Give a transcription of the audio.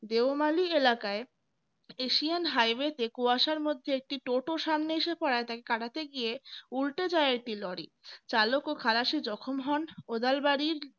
দেওমালী এলাকায় asian highway তে কুয়াশার মধ্যে একটি টোটো সামনে এসে পড়ায় তাকে কাটাতে গিয়ে উল্টে যায় একটি lorry চালক ও খালাসি জখম হন কোদালবাড়ির